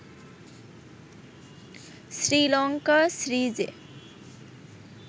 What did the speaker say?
শ্রীলঙ্কা সিরিজে